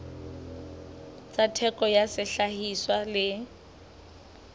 tsa theko ya sehlahiswa le